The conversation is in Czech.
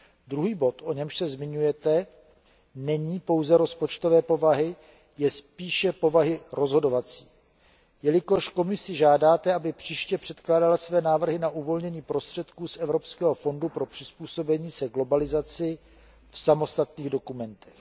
Druhý bod, o němž se zmiňujete, není pouze rozpočtové povahy, je spíše povahy rozhodovací, jelikož Komisi žádáte, aby příště předkládala své návrhy na uvolnění prostředků z Evropského fondu pro přizpůsobení se globalizaci v samostatných dokumentech.